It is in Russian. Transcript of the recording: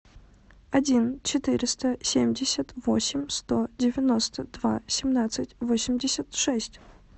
один четыреста семьдесят восемь сто девяносто два семнадцать восемьдесят шесть